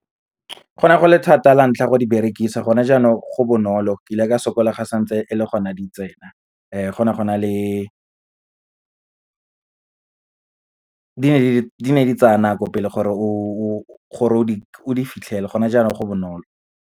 Go ne go le thata la ntlha go di berekisa gone jaanong go bonolo, ke ile ka sokola ga santse e le gona di tsena, go ne go na le, di ne di tsaya nako pele gore o di fitlhele, gone jaanong go bonolo.